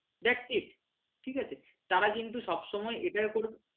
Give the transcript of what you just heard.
tactis ঠিক আছে তারা কিন্তু সবসময় এটার উপর